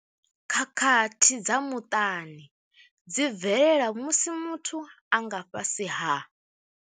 Khakhathi dza muṱani dzi bvelela musi muthu a nga fhasi ha.